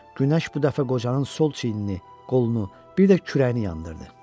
Günəş bu dəfə qocanın sol çiynini, qolunu, bir də kürəyini yandırdı.